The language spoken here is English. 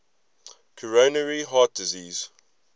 coronary heart disease